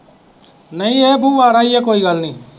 ਨਹੀਂ ਉਹ ਕੋਈ ਗੱਲ ਨਹੀਂ।